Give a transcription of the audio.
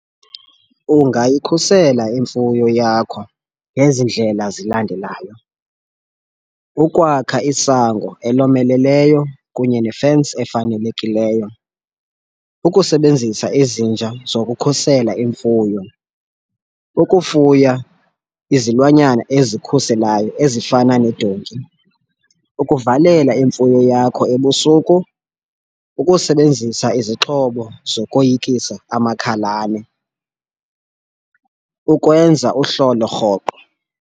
Ungayikhusela imfuyo yakho ngezi ndlela zilandelayo. Ukwakha isango elomeleleyo kunye ne-fence efanelekileyo, ukusebenzisa izinja zokukhusela imfuyo, ukufuya izilwanyana ezikhuselayo ezifana nedonki, ukuvalela imfuyo yakho ebusuku, ukusebenzisa izixhobo zokoyikisa amakhalane, ukwenza uhlolo rhoqo.